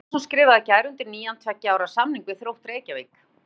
Páll Einarsson skrifaði í gær undir nýjan tveggja ára samning við Þrótt Reykjavík.